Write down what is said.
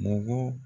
Mɔgɔ